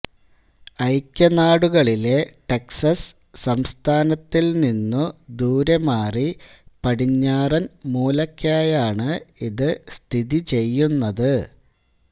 ഐക്യനാടുകളിലെ Texas സംസ്ഥാനത്തിൽനിന്നു ദൂരെമാറി പടിഞ്ഞാറൻ മൂലയ്ക്കായാണ് ഇത് സ്ഥിതി ചെയ്യുന്നത്